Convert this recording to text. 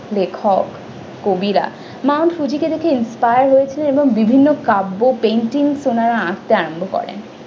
লেখক কবিরা mount fuji কে দেখে inspire হয়েছেন বিভিন্ন কাব্য painting তেনারা আঁকতে আরম্ভ করেন।